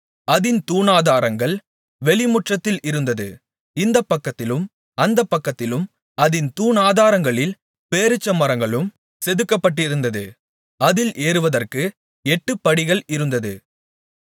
அதின் தூணாதாரங்கள் வெளிமுற்றத்தில் இருந்தது இந்தப் பக்கத்திலும் அந்தப் பக்கத்திலும் அதின் தூணாதாரங்களில் பேரீச்சமரங்களும் செதுக்கப்பட்டிருந்தது அதில் ஏறுவதற்கு எட்டுப்படிகள் இருந்தது